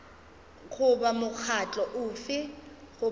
goba mokgatlo ofe goba ofe